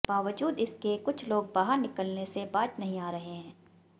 बावजूद इसके कुछ लोग बाहर निकलने से बाज नहीं आ रहे हैं